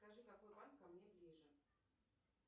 скажи какой банк ко мне ближе